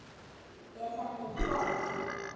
Er þetta ekki gott?